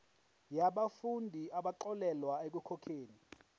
yabafundi abaxolelwa ekukhokheni